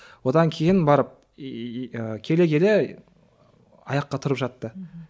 одан кейін барып иии келе келе аяққа тұрып жатты мхм